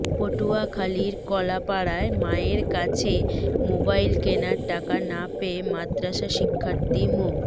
পটুয়াখালীর কলাপাড়ায় মায়ের কাছে মোবাইল কেনার টাকা না পেয়ে মাদ্রাসা শিক্ষার্থী মো